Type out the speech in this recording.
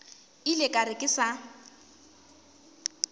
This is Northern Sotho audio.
ile ka re ke sa